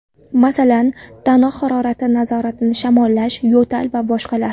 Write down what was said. Masalan, tana harorati nazorati, shamollash, yo‘tal va boshqalar.